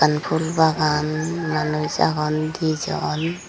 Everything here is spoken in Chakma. ekkan phul bagan manuj agon dijon.